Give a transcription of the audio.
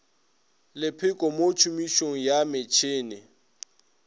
lepheko mo tšhomišong ya metšhene